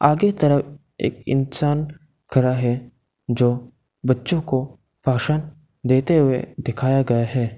आगे तरफ एक इंसान खड़ा है जो बच्चों को भाषण देते हुए दिखाया गया है।